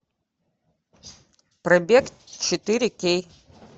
пробег четыре кей